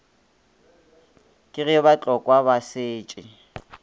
ke ge batlokwa ba setše